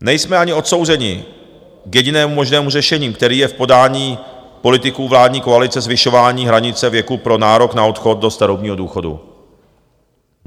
Nejsme ani odsouzeni k jedinému možnému řešení, kterým je v podání politiků vládní koalice zvyšování hranice věku pro nárok na odchod do starobního důchodu.